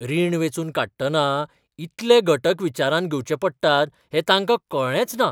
रीण वेंचून काडटना इतले घटक विचारांत घेवचे पडटात हें तांकां कळ्ळेंच ना!